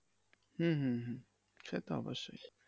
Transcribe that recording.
হম হম হম। সেতো অবশ্যই।